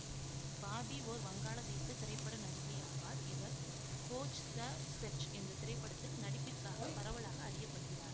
Bobby ஓர் வங்காளதேச திரைப்பட நடிகை ஆவார் இவர் கோஜ் த செர்ச் என்ற திரைப்படத்தில் நடிப்பிற்காக பரவலாக அறிய படுகிறார்